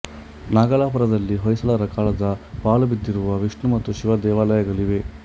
ನಾಗಲಾಪುರದಲ್ಲಿ ಹೊಯ್ಸಳರ ಕಾಲದ ಪಾಳುಬಿದ್ದಿರುವ ವಿಷ್ಣು ಮತ್ತು ಶಿವ ದೇವಾಲಯಗಳಿವೆ